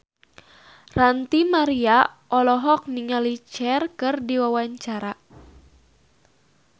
Ranty Maria olohok ningali Cher keur diwawancara